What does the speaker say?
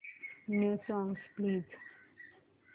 new songs please